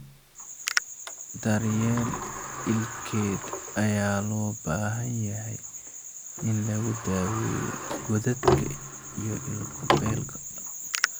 Daryeel ilkeed ayaa loo baahan yahay in lagu daweeyo godadka iyo ilko beelka.